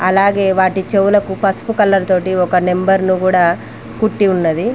అలాగే వాటి చెవులకు పసుపు కలర్ తోటి ఒక నెంబర్ను కూడా కుట్టి ఉన్నది.